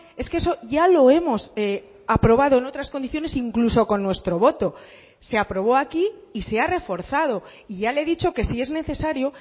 es que eso ya lo hemos aprobado en otras condiciones incluso con nuestro voto se aprobó aquí y se ha reforzado y ya le he dicho que si es necesario